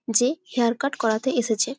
যে hair cut করাতে এসেছে ।